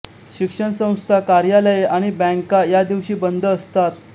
शिक्षणसंस्था कार्यालये आणि बॅंका या दिवशी बंद असतात